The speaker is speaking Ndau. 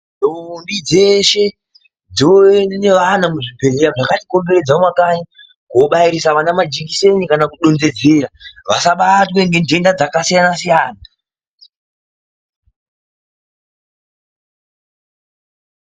Ndombi dzeshe dzoenda nevana muzvibhedhlera zvakatikomberedza mumakanyi koobairisa vana majekiseni kana kudondedzera vasabatwe ngendenda dza akasiyana-siyana.